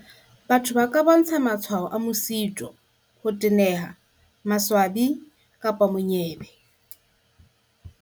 "Batho ba ka bontsha matshwao a mosito, ho teneha, maswabi kapa monyebe."